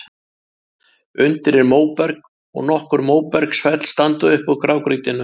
Undir er móberg, og nokkur móbergsfell standa upp úr grágrýtinu.